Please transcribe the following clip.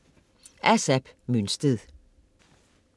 Af Zap Mønsted